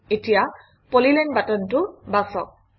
এতিয়া পলিলাইন বাটনটো বাছক